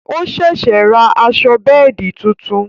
O ṣẹ̀ṣẹ̀ rà aṣọ bẹ́ẹ̀di tuntun